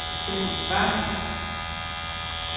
Steffen Schwartz